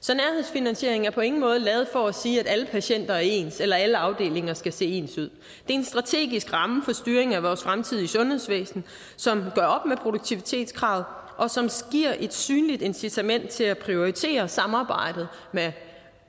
så nærhedsfinansieringen er på ingen måde lavet for at sige at alle patienter er ens eller at alle afdelinger skal se ens ud det en strategisk ramme for styringen af vores fremtidige sundhedsvæsen som gør op med produktivitetskravet og som giver et synligt incitament til at prioritere samarbejdet med